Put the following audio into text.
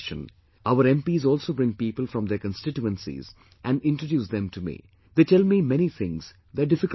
Our MPs also bring people from their constituencies and introduce them to me; they tell me many things, their difficulties also